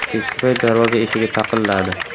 Kechki payt darvoza eshigi taqilladi.